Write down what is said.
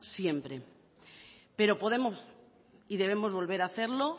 siempre pero podemos y debemos volver a hacerlo